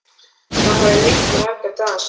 Það hafði rignt í marga daga samfleytt.